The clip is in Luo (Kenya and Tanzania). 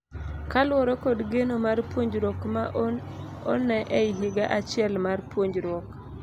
Kaluore kod geno mar puonjruok ma onee ei higa achiel mar puonjruiok.